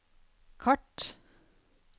kart